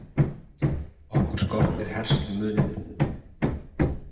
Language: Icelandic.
Okkur skortir herslumuninn